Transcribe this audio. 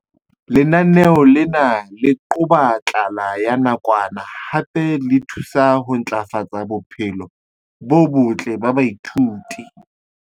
Lenaneo lena le qoba tlala ya nakwana hape le thusa ho ntlafatsa bophelo bo botle ba baithuti.